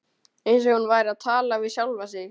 Eins og hún væri að tala við sjálfa sig.